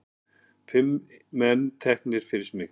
Fimm menn teknir fyrir smygl